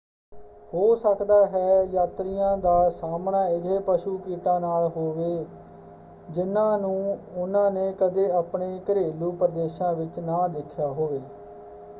ਹੋ ਸਕਦਾ ਹੈ ਯਾਤਰੀਆਂ ਦਾ ਸਾਹਮਣਾ ਅਜਿਹੇ ਪਸ਼ੂ ਕੀਟਾਂ ਨਾਲ ਹੋਵੇ ਜਿਨ੍ਹਾਂ ਨੂੰ ਉਹਨਾਂ ਨੇ ਕਦੇ ਆਪਣੇ ਘਰੇਲੂ ਪ੍ਰਦੇਸ਼ਾਂ ਵਿੱਚ ਨਾ ਦੇਖਿਆ ਹੋਵੇ।